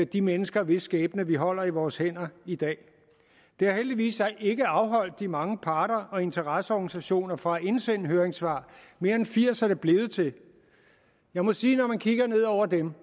de mennesker hvis skæbne vi holder i vores hænder i dag det har heldigvis så ikke afholdt de mange parter og interesseorganisationer fra at indsende høringssvar mere end firs er det blevet til jeg må sige at når man kigger ned over dem